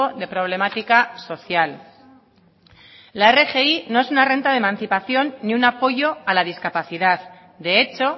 de problemática social la rgi no es una renta de emancipación ni un apoyo a la discapacidad de hecho